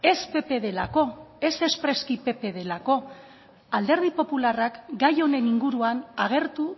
ez pp delako ez espreski pp delako alderdi popularrak gai honen inguruan agertu